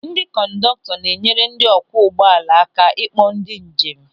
Ndị kọndọktọ na-enyere ndị ọ kwụọ ụgbọala aka ịkpọ ndị njem.